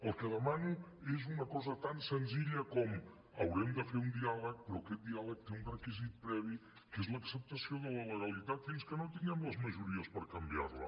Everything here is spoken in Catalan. el que demano és una cosa tan senzilla com haurem de fer un diàleg però aquest diàleg té un requisit previ que és l’acceptació de la legalitat fins que no tinguem les majories per canviar la